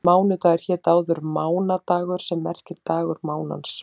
Mánudagur hét áður mánadagur sem merkir dagur mánans.